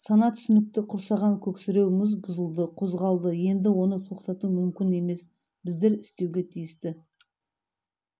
сана түсінікті құрсаған көксіреу мұз бұзылды қозғалды енді оны тоқтату мүмкін емес біздер істеуге тиісті